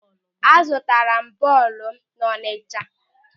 A zụtara m bọọlụ m n'Ọchanja.